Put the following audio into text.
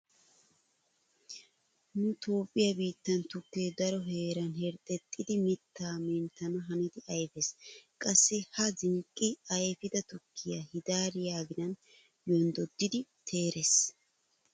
Nu Toophphiya biittan tukkee daro heeran herxxexxidi mittaa menttana hanidi ayfees. Qassi ha zenqqi ayfida tukke hidaariya aginan yonddoddidi teerees.